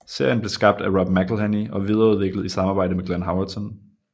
Serien blev skabt af Rob McElhenney og videreudviklet i samarbejde med Glenn Howerton